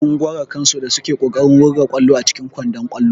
Sun gwara kansu da suke kokarin wurga ƙwallo a cikin kwandon ƙwallo.